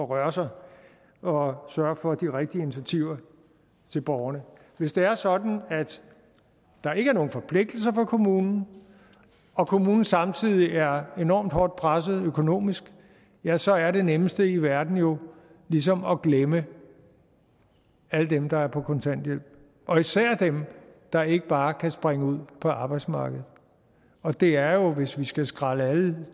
røre sig og sørge for de rigtige initiativer til borgerne hvis det er sådan at der ikke er nogen forpligtelser for kommunen og kommunen samtidig er enormt hårdt presset økonomisk ja så er det nemmeste i verden jo ligesom at glemme alle dem der er på kontanthjælp og især dem der ikke bare kan springe ud på arbejdsmarkedet og det er jo hvis vi skal skrælle alle